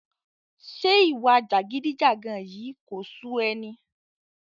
Ṣé ìwà jàgídíjàga yìí kò sú ẹ ni?